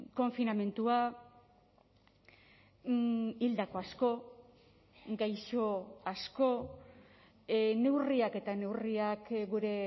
konfinamendua hildako asko gaixo asko neurriak eta neurriak gure